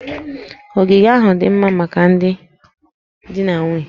Ogige ahụ dị mma maka ndị di na nwunye